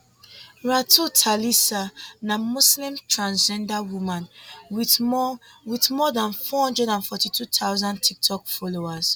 ratu thalisa na muslim transgender woman wit more wit more dan four hundred and forty two thousand tiktok followers